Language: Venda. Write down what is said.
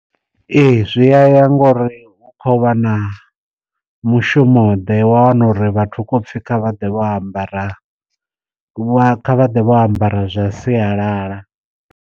Ee zwi a ya ngori hu kho vha na mushumo ḓe wa wana uri vhathu hu khou pfhi kha vhaḓe vho ambara vha vha vho ambara zwa sialala.